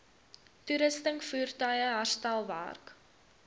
toerusting voertuie herstelwerk